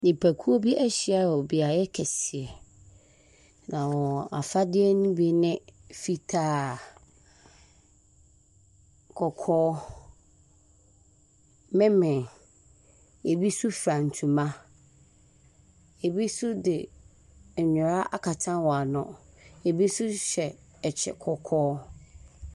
Nnipakuo bi ahyia wɔ beaeɛ kɛseɛ, na wɔn afadeɛ no bi ne fitaa, kɔkɔɔ, memen. Ebi nso fura ntoma, ebi nso de nwera akata wɔn ano, ebi nso hyɛ kyɛ kɔkɔɔ.